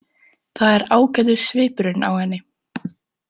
Það er ágætur svipurinn á henni.